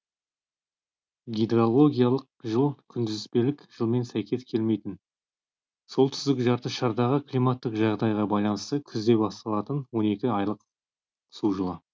гидрологиялық жыл күнтізбелік жылмен сәйкес келмейтін солтүстік жарты шардағы климаттық жағдайға байланысты күзде басталатын он екі айлық су жылы